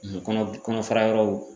Ani Kɔnɔ kɔnɔ fara yɔrɔw